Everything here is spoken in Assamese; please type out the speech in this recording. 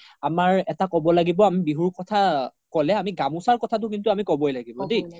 আমাৰ এটা ক্'ব লাগিব বিহুৰ কথা ক্'লে আমি গামোচাৰ কথাটো আমি ক্'বৈ লাগিব দেই